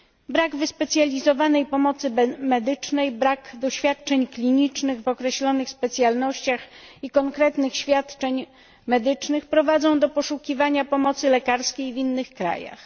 Brak wyspecjalizowanej pomocy medycznej, brak doświadczeń klinicznych w określonych specjalnościach i konkretnych świadczeń medycznych prowadzi do poszukiwania pomocy lekarskiej w innych krajach.